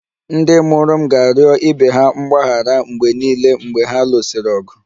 Ndị mụrụ m ga-arịọ ibe ha mgbaghara mgbe niile mgbe ha lụsịrị ọgụ